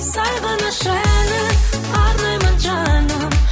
сағыныш әні қараймын жаным